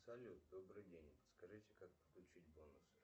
салют добрый день подскажите как подключить бонусы